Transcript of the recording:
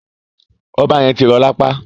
Ọba yẹn ti rọ lapa.